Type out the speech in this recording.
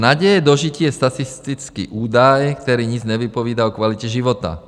Naděje dožití je statistický údaj, který nic nevypovídá o kvalitě života.